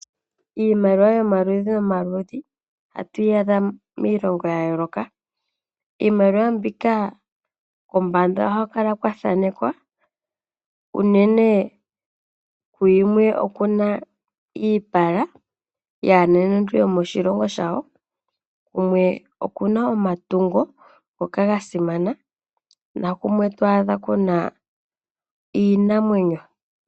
Iimaliwa yomaludhi nomaludhi ohatu yi adha miilongo yayooloka. Iimaliwa mbika kombanda ohaku kala kwathanekwa, unene kuyimwe okuna iipala yaanenentu yomoshilongo shawo, kumwe okuna omatungo ngoka gasimana, nakumwe twaadha kuna iinamwenyo.